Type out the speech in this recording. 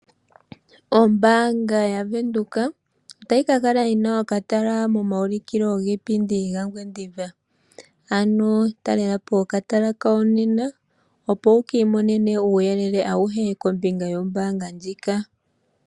Ombaanga yaVenduka otayi ka kala yina okatala momaulikilo giipindi gaNgwediva. Ano talela po okatala kawo nena opo wukiimonene uuyelele awuhe kombinga yombaanga ndjika.